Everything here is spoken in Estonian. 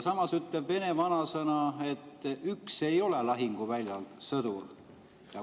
Samas ütleb vene vanasõna, et üks ei ole lahinguväljal sõdur.